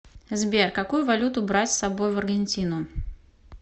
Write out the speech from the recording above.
сбер какую валюту брать с собой в аргентину